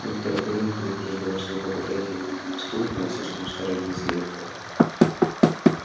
доктор пиренн предупреждал что вы попытаетесь сбить меня с толку но я слишком старый лис для этого